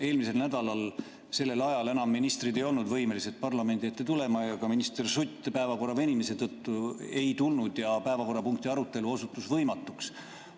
Eelmisel nädalal sellel ajal enam ministrid ei olnud võimelised parlamendi ette tulema ja ka minister Sutt päevakorra venimise tõttu ei tulnud ja päevakorrapunkti arutelu osutus võimatuks.